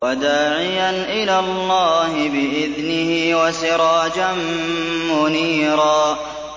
وَدَاعِيًا إِلَى اللَّهِ بِإِذْنِهِ وَسِرَاجًا مُّنِيرًا